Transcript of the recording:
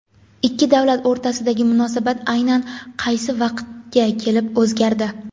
Ikki davlat o‘rtasidagi munosabat aynan qaysi vaqtga kelib o‘zgardi?.